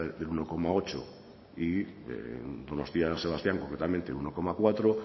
del uno coma ocho y donostia san sebastián concretamente un uno coma cuatro